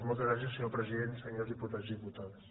moltes gràcies senyor president senyors diputats i diputades